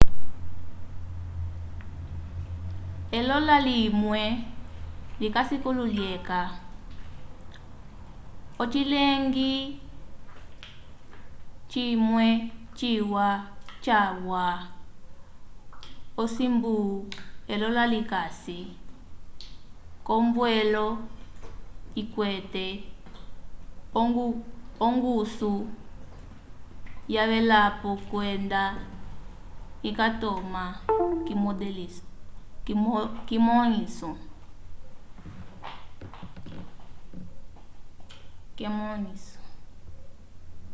elola limwe likasi kilu lyeca ocileñgi cimwe ciwa calwa osimbu elola likasi k'ombwelo ikwete ongusu yavelapo kwenda ikatoma k'emõliso